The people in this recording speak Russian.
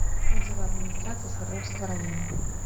отзывы администрация свердловского района